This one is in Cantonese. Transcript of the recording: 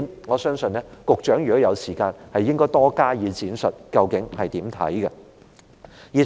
我相信如果局長有時間，應就這點多加闡述，究竟她有何看法？